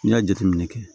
N'i y'a jateminɛ kɛ